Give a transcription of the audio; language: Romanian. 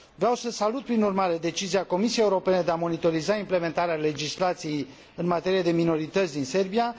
Vreau să salut prin urmare decizia Comisiei Europene de a monitoriza implementarea legislației în materie de minorități din Serbia.